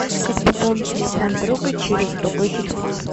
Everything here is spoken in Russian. как пополнить телефон друга через другой телефон